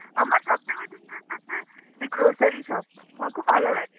আমার সব থেকে বেশি interest আছে যে grocery shop আমার খুব ভালো লাগে.